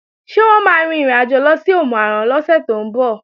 Ṣé wọ́n máa rin ìrìnàjò lọ sí Òmù-àrán lọ́sẹ̀ tó ń bọ̀?